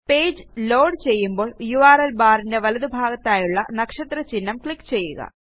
page load ചെയ്യുമ്പോൾ URL barന്റെ വലതുഭാഗത്തായുള്ള നക്ഷത്ര ചിഹ്നം ക്ലിക്ക് ചെയ്യുക